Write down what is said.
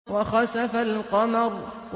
وَخَسَفَ الْقَمَرُ